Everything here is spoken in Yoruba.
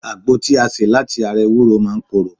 Àgbo tí a ṣe láti ara ewúro máa ń koro